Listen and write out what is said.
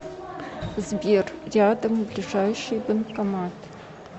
сбер рядом ближайший банкомат